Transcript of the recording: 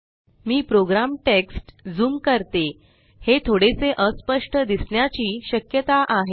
मी program text zoom करते हे थोडेसे अस्पष्ट दिसण्याची श्यकता आहे